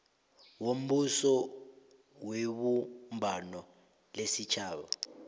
wombuso webumbano lesitjhaba